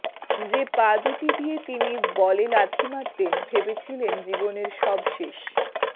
যে পা দুটি দিয়ে তিনি বলে লাথি মারতেন ভেবেছিলেন জীবনের সব শেষ